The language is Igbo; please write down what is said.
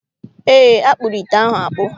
Eé, a kpụrụ ite ahụ akpụ.